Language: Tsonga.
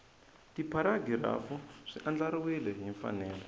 tipharagirafu swi andlariwile hi mfanelo